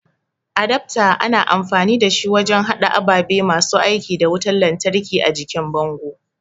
adafto ana amfani dashi wajen hada ababe masu aiki da wutan lantraki a jikin bango